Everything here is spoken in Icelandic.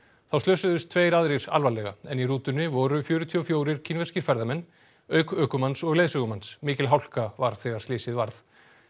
þá slösuðust tveir aðrir alvarlega en í rútunni voru fjörutíu og fjórir kínverskir ferðamenn auk ökumanns og leiðsögumanns mikil hálka var þegar slysið varð